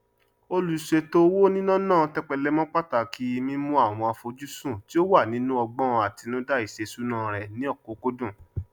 olùṣètò owó níná náà tẹpẹlẹ mọ pàtàkì mímú àwọn àfojúsùn tí ó wà nínú ọgbọn àtinúdá iṣèṣúná rẹ ní ọkúkúdùn